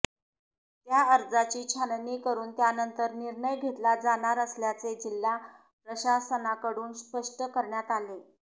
त्या अर्जाची छाननी करून त्यानंतर निर्णय घेतला जाणार असल्याचे जिल्हा प्रशासनाकडून स्पष्ट करण्यात आले